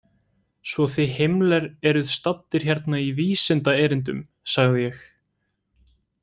Svo þið Himmler eruð staddir hérna í vísindaerindum, sagði ég.